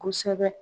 Kosɛbɛ